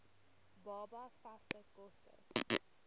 baba vaste kos